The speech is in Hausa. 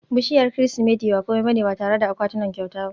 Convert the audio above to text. bishiyar Kirsimeti ba kome ba ne ba tare da akwatunan kyauta ba